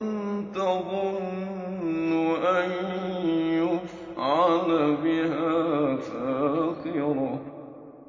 تَظُنُّ أَن يُفْعَلَ بِهَا فَاقِرَةٌ